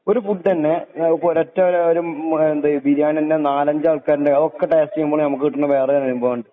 ഒരു ഫുഡ്ന്നെ ആ ഒരൊറ്റ ഒരോട്ടോരു മ എന്തേ ബിരിയാണി തന്നെ നാലഞ്ചൽക്കാരെന്നെ ഉണ്ടാക്കി ടേസ്റ്റ് ചെയ്യുമ്പോൾ ഞമ്മക്ക് കിട്ടാണ വേറെ അനുഭവം ആണ്.